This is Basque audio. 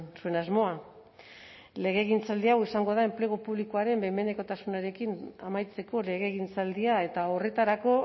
zuen asmoa legegintzaldi hau izango da enplegu publikoaren behin behinekotasunarekin amaitzeko legegintzaldia eta horretarako